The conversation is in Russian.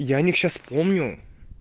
я о них сейчас помню